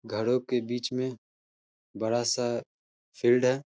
घरों के बीच में बड़ा सा फील्ड है।